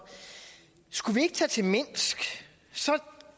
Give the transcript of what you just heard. skulle vi ikke tage til minsk og så